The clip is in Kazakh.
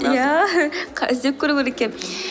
иә іздеп көру керек екен